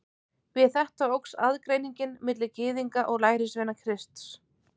Við þetta óx aðgreiningin milli Gyðinga og lærisveina Krists.